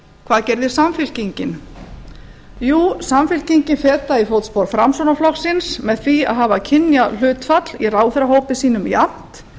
hvað gerði samfylkingin jú samfylkingin fetaði í fótspor framsóknarflokksins með því að hafa kynjahlutfall í ráðherrahópi sínum jafnt